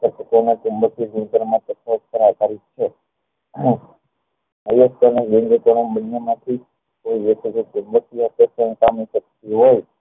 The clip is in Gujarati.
એમ ચુમબકીય ગુણધર્મ પર આધારિત છે બન્ને માંથી કોઈ કે